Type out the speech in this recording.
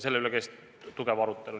Selle üle käis põhjalik arutelu.